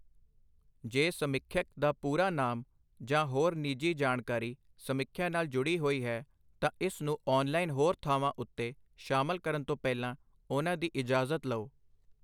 ਜੇ ਸਮੀਖਿਅਕ ਦਾ ਪੂਰਾ ਨਾਮ ਜਾਂ ਹੋਰ ਨਿੱਜੀ ਜਾਣਕਾਰੀ ਸਮੀਖਿਆ ਨਾਲ ਜੁੜੀ ਹੋਈ ਹੈ, ਤਾਂ ਇਸ ਨੂੰ ਔਨਲਾਈਨ ਹੋਰ ਥਾਵਾਂ ਉੱਤੇ ਸ਼ਾਮਲ ਕਰਨ ਤੋਂ ਪਹਿਲਾਂ ਉਹਨਾਂ ਦੀ ਇਜਾਜ਼ਤ ਲਓ।